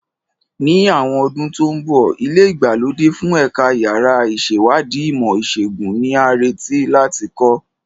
Ní àwọn ọdún tó ń bọ̀, ilé ìgbàlódé fún Ẹ̀ka Yàrá Ìṣèwádìí Ìmọ̀ Ìṣègùn ni a retí láti kọ́.